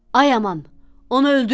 Ay aman, onu öldürməyin.